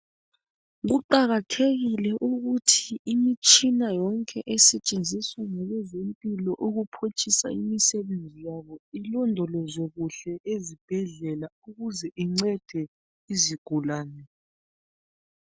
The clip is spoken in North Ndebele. Kuqakathekile ukuthi imitshina yonke esetshenziswa ngabezempilo ukuphutshisa imisebenzi yabo ilondolozwe kuhle ezibhedlela ukuze incede izigulane.